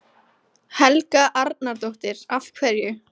Helga Arnardóttir: Af hverju?